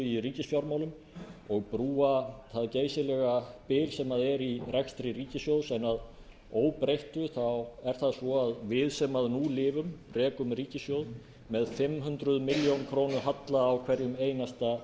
í ríkisfjármálum og brúa það geysilega bil sem er í rekstri ríkissjóðs en að óbreyttu er það svo að við sem nú lifum rekum ríkissjóð með fimm hundruð milljóna króna halla á hverjum einasta